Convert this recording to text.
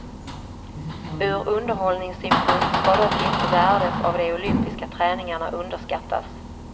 Ur underhållningssynpunkt ska dock inte värdet av de olympiska träningarna underskattas.